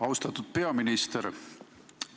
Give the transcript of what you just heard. Austatud peaminister!